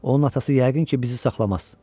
Onun atası yəqin ki, bizi saxlamaz.